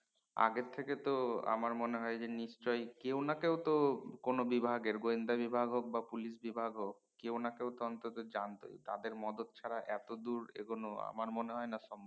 আগে থেকে তো আমার মনে হয় যে নিশ্চয় কেও না কেও তো কোন বিভাগের গোয়েন্দা বিভাগ হক বা পুলিশ বিভাগ হক কেও না কেও অন্তত জানত তাদের মদত ছাড়া এত দূর এগোন আমার মনে হয় না সম্ভব